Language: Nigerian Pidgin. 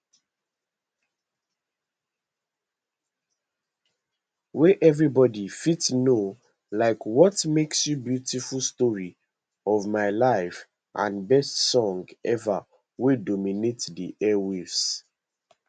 wey everybody fit know like what makes you beautiful story of my life and best song ever wey dominate di air waves